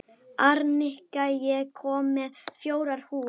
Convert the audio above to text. Arnika, ég kom með fjórar húfur!